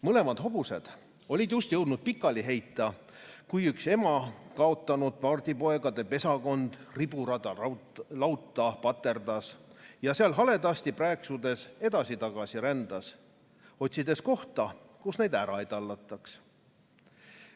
Mõlemad hobused olid just jõudnud pikali heita, kui üks ema kaotanud pardipoegade pesakond riburada lauta paterdas ja seal haledasti prääksudes edasi-tagasi rändas, otsides kohta, kus neid ära ei tallataks.